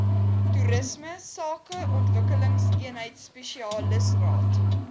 toerisme sakeontwikkelingseenheid spesialisraad